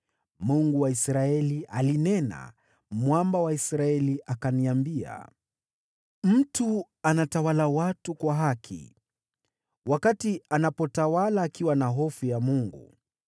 Mungu wa Israeli alinena, mwamba wa Israeli akaniambia: ‘Mtu anatawala watu kwa haki, wakati anapotawala akiwa na hofu ya Mungu,